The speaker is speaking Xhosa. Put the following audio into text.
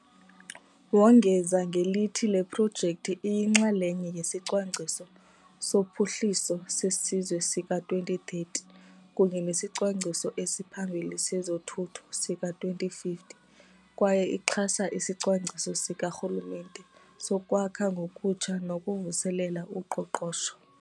Wongeza ngelithi le projekthi iyinxalenye yeSicwangciso soPhuhliso seSizwe sika-2030 kunye nesiCwangciso esiPhambili sezoThutho sika-2050 kwaye ixhasa isiCwangciso Sikarhulumente soKwakha Ngokutsha nokuVuselela uQoqosho.